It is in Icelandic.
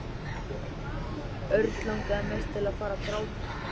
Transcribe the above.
Örn langaði mest til að fara að gráta.